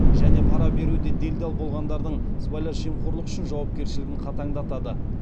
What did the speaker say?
және пара беруде делдал болғандардың сыбайлас жемқорлық үшін жауапкершілігін қатаңдатады